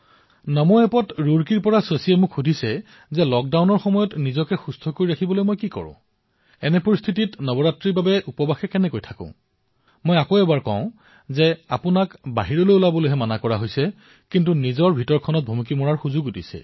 নমো এপত মোক ৰুড়কীৰ শশীয়ে সুধিছে লক্ডাউনৰ সময়ছোৱাত মই নিজৰ ফিটনেছৰ বাবে কি কৰো এই পৰিস্থিতিত নৱৰাত্ৰিৰ উপবাস কিদৰে পালন কৰো মই পুনৰবাৰ আপোনালোকক কৈছো যে আপোনালোকক বাহিৰলৈ ওলাবলৈ মানা কৰা হৈছে আপোনালোকক নিজকে এবাৰ জুকিয়াই চাবলৈ দিয়া হৈছে